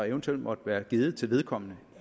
eventuelt måtte være givet til vedkommende